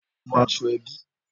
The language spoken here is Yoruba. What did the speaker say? Lọ wọ aṣọ ẹbí